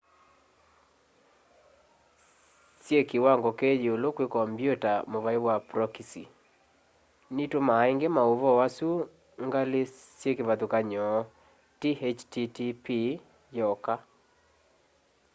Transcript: syi kiwango kiyiulu kwi kompyuta muvai wa prokisi nitumaa ingi mauvoo asu ngali syi kivathyukany'o ti http yoka